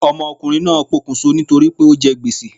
Ọmọ ọkunrin naa pokùn so ni tori pe o jẹ gbèsè